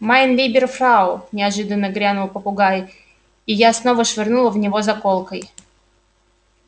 майн либер фрау неожиданно грянул попугай и я снова швырнула в него заколкой